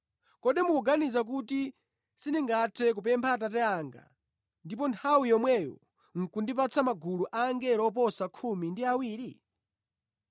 Kodi mukuganiza kuti sindingathe kupempha Atate anga ndipo nthawi yomweyo nʼkundipatsa magulu a angelo oposa khumi ndi awiri?